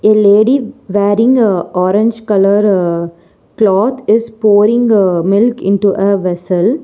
A lady wearing a orange colour cloth is pouring a milk into a vessel.